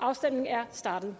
afstemningen er startet